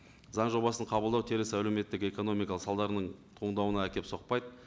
заң жобасын қабылдау теріс әлеуметтік экономикалық салдарының туындауына әкеліп соқпайды